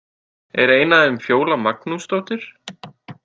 Er ein af þeim Fjóla Magnúsdóttir?